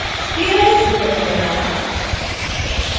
spherize effect banana